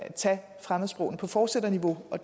tage fremmedsprogene på fortsætterniveau og